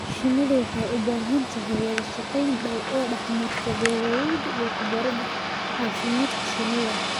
Shinnidu waxay u baahan tahay wada shaqayn dhow oo dhex marta beeraleyda iyo khubarada caafimaadka shinnida.